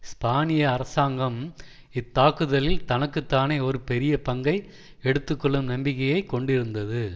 ஸ்பானிய அரசாங்கம் இத்தாக்குதலில் தனக்கு தானே ஒரு பெரிய பங்கை எடுத்து கொள்ளும் நம்பிக்கையை கொண்டிருந்தது